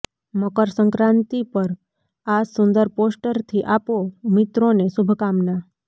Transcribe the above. મકર સંક્રાતિ પર આ સુંદર પોસ્ટરથી આપો મિત્રોને શુભકામના